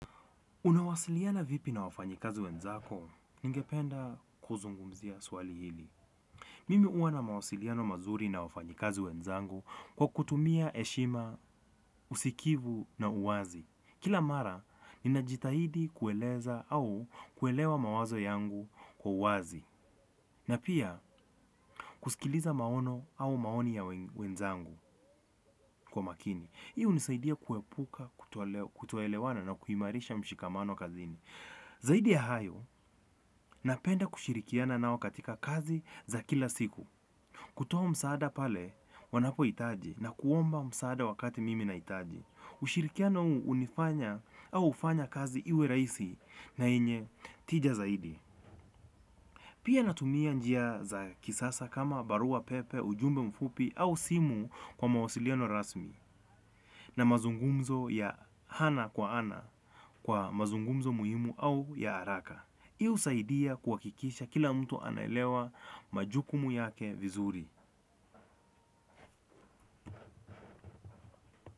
Unawasiliana vipi na wafanyikazi wenzako, ningependa kuzungumzia swali hili. Mimi huwa na mawasiliano mazuri na wafanyikazi wenzangu kwa kutumia heshima, usikivu na uwazi. Kila mara, ninajitahidi kueleza au kuelewa mawazo yangu kwa uwazi. Na pia, kusikiliza maono au maoni ya wenzangu kwa makini. Hii hunisaidia kuepuka, kutoelewana na kuimarisha mshikamano kazini. Zaidi ya hayo napenda kushirikiana nao katika kazi za kila siku. Kutoa msaada pale wanapohitaji na kuomba msaada wakati mimi nahitaji. Ushirikiano huu hunifanya au hufanya kazi iwe rahisi na yenye tija zaidi. Pia natumia njia za kisasa kama barua pepe, ujumbe mfupi au simu kwa mawasiliano rasmi. Na mazungumzo ya ana kwa ana kwa mazungumzo muhimu au ya haraka hii husaidia kuhakikisha kila mtu anaelewa majukumu yake vizuri.